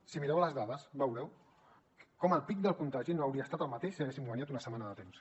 si mireu les dades veureu com el pic del contagi no hauria estat el mateix si haguéssim guanyat una setmana de temps